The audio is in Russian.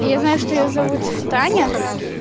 я знаю что её зовут таня